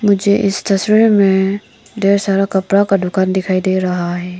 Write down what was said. मुझे इस तस्वीर में ढेर सारा कपड़ा का दुकान दिखाई दे रहा हैं।